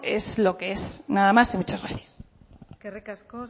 es lo que es nada más y muchas gracias eskerrik asko